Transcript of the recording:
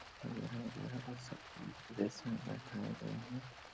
और यहाँ यहां सबको एक ड्रेस में बैठाए गए है।